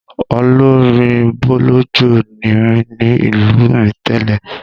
Olórin bọ̀lọ̀jọ̀ ni mí ní ìlú mi tẹ́lẹ̀.